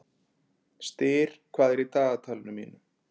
Styr, hvað er í dagatalinu mínu í dag?